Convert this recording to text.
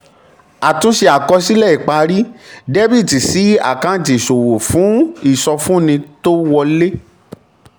àtúnṣe àkọsílẹ̀ ìparí: dr sí àkáǹtì ìṣòwò fún ìsọfúnni tó wọlé.